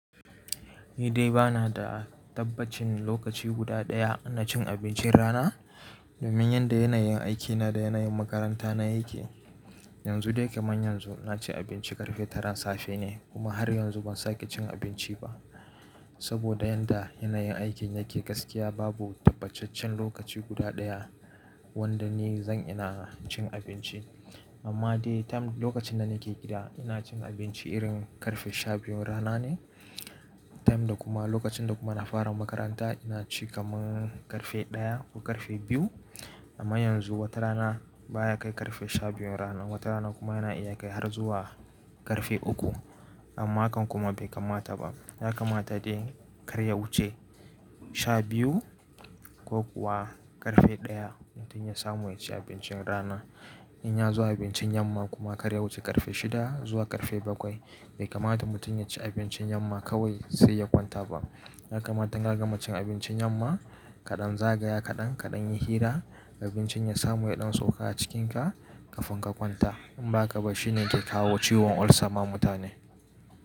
Ni dai ba na da tabbacin lokaci guda ɗaya na cin abincin rana, domin yanda yanayin aikina da yanayin makaranta na yake. Yanzu dai kamar yanzu na ci abinci ƙarfe taran safe ne kuma har yanzu ban sake cin abinci ba. Saboda yanda yanayin aikin yake gaskiya babu tabbacaccen lokaci guda ɗaya wanda ni zan ina cin abinci. Amma dai time lokacin da nake gida ina cin abinci irin ƙarfe shabiyu rana ne. Time da kuma lokacin da kuma na fara makaranta ina ci kamar ƙarfe ɗaya ko ƙarfe biyu. Amma yanzu wata rana baya kai ƙarfe shabiyu rana, wata rana kuma yana iya kai har zuwa ƙarfe uku. Amma hakan kuma bai kamata ba. Ya kamata dai kar ya wuce shabiyu ko kuwa ƙarfe ɗaya mutum ya samu ya ci abincin rana. In ya zo abincin yamma kuma kar ya wuce ƙarfe shida zuwa ƙarfe bakwai. Bai kamata mutum ya ci abincin yamma kawai sai ya kwanta ba. Ya kamata in an gama cin abincin yamma kaɗan zagaya kaɗan, kaɗan yi hira abincin ya samu ya ɗan sauka a cikinka kafin ka kwanta. In ba haka ba shine yake kawo ciwon ulcer ma mutane.